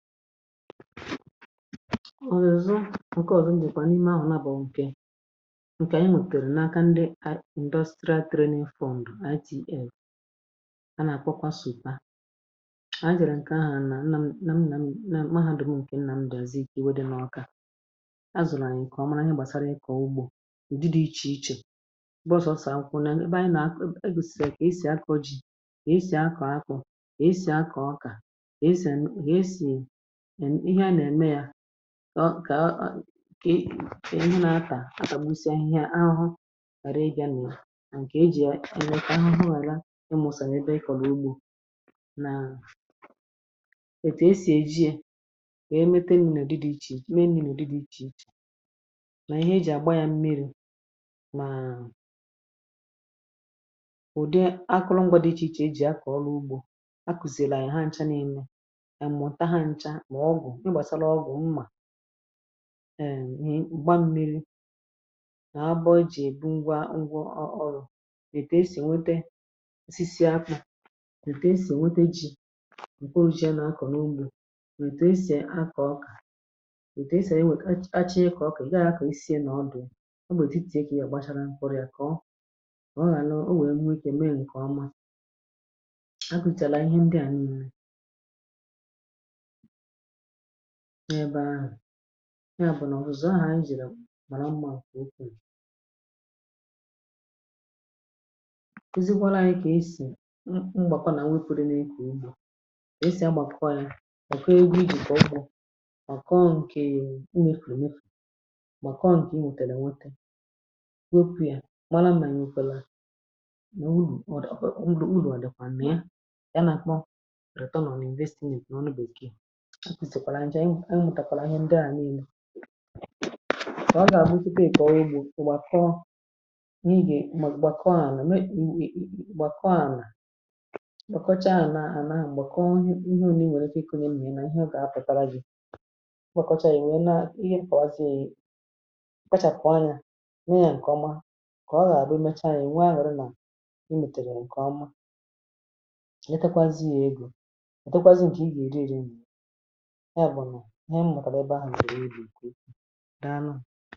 Ọrụzụ ǹke ọ̀zọ, mbụ̇kpà n’ime ahụ̀ nà bọ̀. Ǹkè, ǹkè ànyị mùtèrè nà aka, ndị Indusia Trade Fund (IDF). A nà àkwakwasu̇ kpa. A jèrè ǹkè ahụ̀ nà nnà m, nà m, nà m Mahadum. Ǹkè nnà m dozi, kà ewe dị n’Ọkà azụ̀. Nà ànyị kà ọma. Nà ihe gbàsara ịkọ̀ọ ugbȯ, ùdi dị̇ ichè ichè. M̀gbọ sọsà akụ̀kwụ̀, nà ebe ànyị nà ebusi. Kà esì akọ ji, kà esì akọ akọ̀, kà esì akọ ọkà. Ọ kà e bụ na-atà, atàgbusị ahụhụ, ghàra ị gaa n’à. Ǹkè e jì e na-ata ahụhụ — àlà, ịmụ̇sànyè, pay, kọ̀rọ̀ ugbȯ. Nà ètù e sì èji e, e mepe nnùnù dị, dị ichè ichè. Mee nnùnù dị, dị ichè ichè, nà ihe e jì àgba ya mmịrị̇. Màa ụ̀dị akụlụngwa dị ichè ichè e jì akọ̀ ọrụ ugbȯ. A kùzìrì a ya ha ncha na-eme. Ma ọgwụ̀, ị gbasara ọgwụ̀ mmà — eee! Mgbaṁ, mmiri, na abọ̇ ji. Ebu ngwa ngwa, ọrụ̇, ètè esì nwete osisi, akwụ̇. Ètè esì nwete ji̇, mkpo, ụjịị a na-akọ̀ n’ugbȯ. Ètè esì akọ̀, ka ètè esì enwèkà. Achịị, ịkọ̀ ọkụ. Ga akọ̀ esì, ị nà ọdụ̀? Ọ bụ̀ ètè eki ya? Gbachara mpụrụ̇ ya, kọọ ọ, rȧ nà o nwèrè. Nwekè mee ǹkè ọma. Akụ̀chàrà ihe ndị à nnà n’ebe ahụ̀. Ya bụ̀ nà ọ̀ rụzọ ahụ̀ iji̇ nàra mmȧ. Okwu̇ kezikwala ànyị. Kà esì mgbàkwa, nà nwepȯde n’egwù. Umùà esì agbàkọ yȧ, gbàkwa egwu. Ìgwè ọkpọ̇, gbàkọọ ǹkè. Unwėtėrė, nwete, wepù ya, gbara mmȧ, nyekwa là. Nà ọ wụrụ, ọ̀ dọ̀kwà, ọ̀ nrọ̀ nrọ̀, àdọkwà mmȧ ya. Nà kpọ, rẹ̀tọ, nà ànà, nà èvesti n’èkù n’ọnụ Bèkee. Mụ̀tàkwàlà ihe ndị à, niilȧ, kà ọ gà-àbụ out of baking. Kọ̀wà, ị gbọ̀ ògbò à. Kọọ, ị gèe. Gbàkọ ànà, gbàkọ ànà. Kọchaa ànà, àna, ànà. M̀gbè, kọọ ihe ọ̀ nà ihe. Ȯnyė nwèrè ike, ị kọ̀nye. Mnyèrè, nà ihe ọ̀ gà-apụ̀tala gị̀. Kọcha, è nwèe. Naa ihe, ǹkàwazie, kachà. Kọ̀ọ anyȧ, nwee yȧ ǹkè ọma. Kà ọ gà-àbụ, ị mecha yȧ, ị̀ nwaà, hụrụ nà ị mètèrè ǹkè ọma. Etakwazị ya egȯ. Ò dɔkwazị ǹjì? Ị gè-èdi èri? E bụ nà o nwèrè ebe a, nzọrọ, iji nkwukwu daa n’àlà.